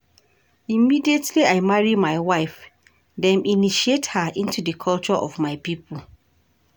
Immediately I marry my wife, dem initiate her into di culture of my pipo.